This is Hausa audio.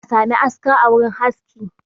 Dole ne a sami aska a wurin haski